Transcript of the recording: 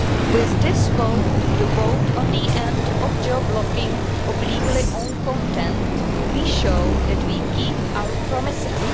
With this vote the vote on the end of geo-blocking of legally owned content we show that we keep our promises.